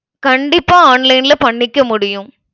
கண்டிப்பா online ல பண்ணிக்க முடியும்